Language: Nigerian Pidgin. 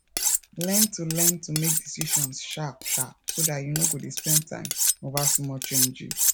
learn to learn to make decisions sharp sharp so dat you no go spend time over small changes